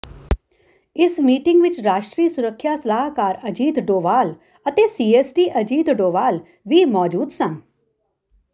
ਇਸ ਮੀਟਿੰਗ ਵਿੱਚ ਰਾਸ਼ਟਰੀ ਸੁਰੱਖਿਆ ਸਲਾਹਕਾਰ ਅਜੀਤ ਡੋਵਾਲ ਅਤੇ ਸੀਐਸਡੀ ਅਜਿਤ ਡੋਵਾਲ ਵੀ ਮੌਜੂਦ ਸਨ